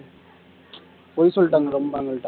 பொய் சொல்லிட்டாங்க ரொம்ப அவங்கள்ட்ட